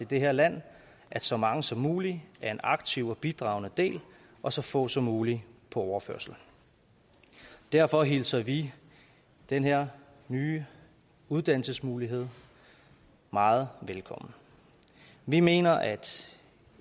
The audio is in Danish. det her land at så mange som muligt er en aktiv og bidragende del og så få som muligt på overførsel derfor hilser vi den her nye uddannelsesmulighed meget velkommen vi mener at